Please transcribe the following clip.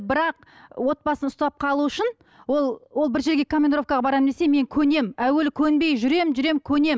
бірақ отбасын ұстап қалу үшін ол ол бір жерге командировкаға барамын десе мен көнемін әуелі көнбей жүремін жүремін көнемін